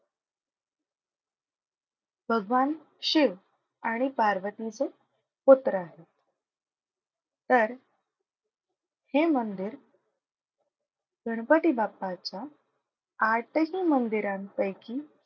भगवान शिव आणि पार्वती चे पुत्र आहेत. तर हे मंदिर गणपती बाप्पाच्या आठही मंदिरांपैकी,